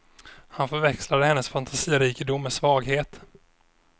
Han förväxlade hennes fantasirikedom med svaghet.